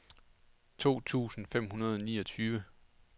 to tusind fem hundrede og niogtyve